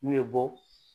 N'u ye bɔ